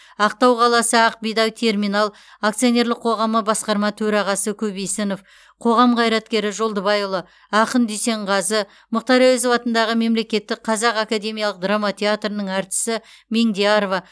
ақтау қаласы ақ бидай терминал акционерлік қоғамы басқарма төрағасы көбейсінов қоғам қайраткері жолдыбайұлы ақын дүйсенғазы мұхтар әуезов атындағы мемлекеттік қазақ академиялық драма театрының әртісі меңдиярова